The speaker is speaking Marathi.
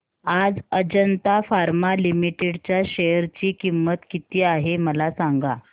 आज अजंता फार्मा लिमिटेड च्या शेअर ची किंमत किती आहे मला सांगा